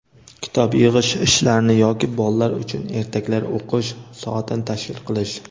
kitob yig‘ish ishlarini yoki bolalar uchun ertaklar o‘qish soatini tashkil qilish;.